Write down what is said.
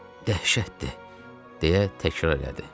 Dəhşətdir” deyə təkrarladı.